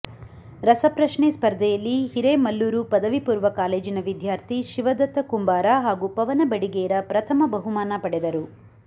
ರಸಪ್ರಶ್ನೆ ಸ್ಪರ್ಧೆಯಲ್ಲಿ ಹಿರೇಮಲ್ಲೂರು ಪದವಿ ಪೂರ್ವ ಕಾಲೇಜಿನ ವಿದ್ಯಾರ್ಥಿ ಶಿವದತ್ತ ಕುಂಬಾರ ಹಾಗೂ ಪವನ ಬಡಿಗೇರ ಪ್ರಥಮ ಬಹುಮಾನ ಪಡೆದರು